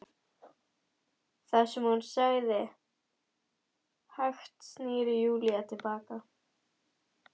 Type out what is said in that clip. Það sem hún sagði- Hægt snýr Júlía til baka.